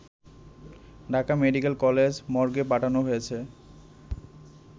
Dhaka medical college মর্গে পাঠানো হয়েছে